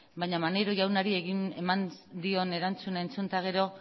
baina maneiro jaunari eman dion erantzuna entzun eta gero